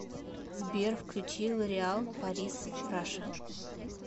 сбер включи лореал парис раша